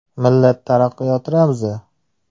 Millat taraqqiyoti ramzi.